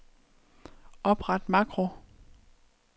Opret makro.